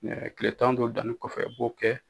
mɛTile tan don danni kɔfɛ i b'o kɛ